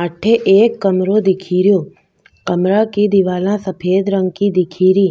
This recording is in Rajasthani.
अठे एक कमरों दिखे रो कमरा की दिवारा सफ़ेद रंग की दिखे री